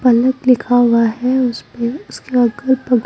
पलक लिखा हुआ हैं उसपे उसके अगल बगल--